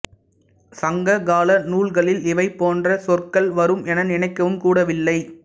சங்க கால நூல்களில் இவை போன்ற சொற்கள் வரும் என நினைக்கவும் கூடவில்லை